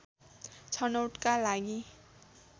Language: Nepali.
छनौटका लागि